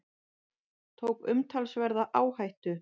Tók umtalsverða áhættu